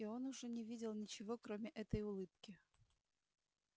и он уже не видел ничего кроме этой улыбки